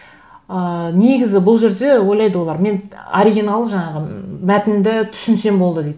ыыы негізі бұл жерде ойлайды олар мен оригинал жаңағы мәтінді түсінсем болды дейді